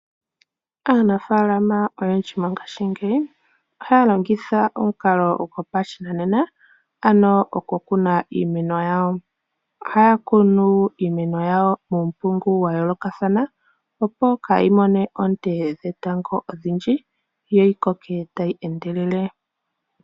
Aanafaalama oyendji mongaashingeyi ohaya longitha omukalo gopashinanena, ano oku kuna iimeno yawo. Ohaya kunu iimeno yawo uumpungu wa yoolokathana, opo kaa yi mone oonte dhetango odhindji, yo yi koke tayi endelele.